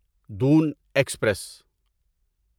دون ایکسپریس